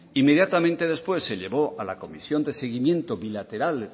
inmediatamente después se llevó a la comisión de seguimiento bilateral